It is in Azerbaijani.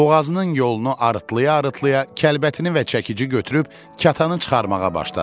Boğazının yolunu arıtlaya-arıtlaya kəlbətini və çəkici götürüb kətanı çıxarmağa başladı.